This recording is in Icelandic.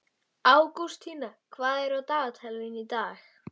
Ágústína, hvað er á dagatalinu mínu í dag?